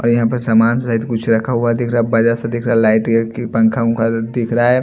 यहां पर सामान सहित कुछ रखा हुआ दिख रहा है बजार से दिख रहा है लाइट पंखा दिख रहा है।